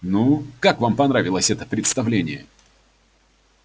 ну как вам понравилось это представление